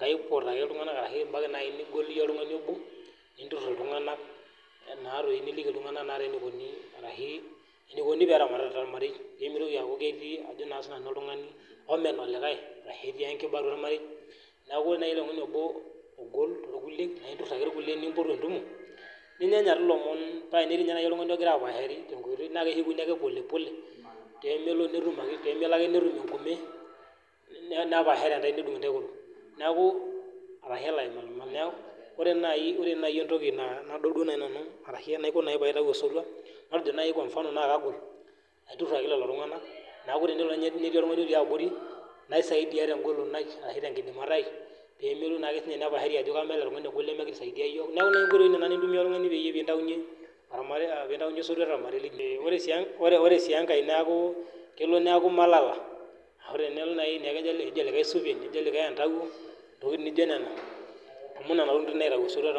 kaopot ake ltungana arashu ibaki nai ltungani obo, ninturrur ltunganak naa doi niliki ltunganak naa dei neikoni ashu neikoni peeramati te irmarei, nemeitoki aaku ketii ajo sii nanu ltungani omen olikaii, arashu etii nkiba atua irmarei, naaku naa ltungani obo ogol to lkuliek naa impot ake lkuliek nimpotu entumo, ninyanya ake lomon paa tenaa ketii kenyaake ltungani logira apaashari naa keshukuni ake polepole paa tenelo ake netum ake nepaashare intae nedung' intae nkoriong'i, naaku arashu elo aimalmalaa, naaku ore naii entoki nadol duo nanu arashu enaiko nai peitai esotua, matejo naii kwa mfano naa kalo aturrur ake lelo tungana, naaku teneshomo ninye nitii ormarei le abori naisaidia teweji naidim ashu te nkidimata aai, peemelo siake ninye nepaashari ajo kamen oltungana lkule emekesaidia yook, naaku nenia nkoitoi naa imaniki intumiya piintainye ormarei, piintaiye esotua te irmarei lino, ore sii enkae naaku kenare naau iimalala aaku ore naaki ijo likae entauwo, ntokitin naijo nenia.